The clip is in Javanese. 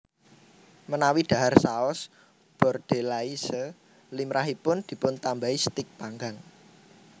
Menawi dhahar Saus Bordelaise limrahipun dipuntambahi stik panggang